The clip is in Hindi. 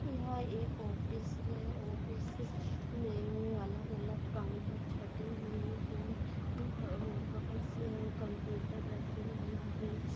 यह एक ऑफिस है ऑफिस मे अलग-अलग काउंटर छटे हुए है वह बहुत से कम्पुटर रखे हुए है।